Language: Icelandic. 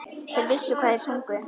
Þeir vissu hvað þeir sungu.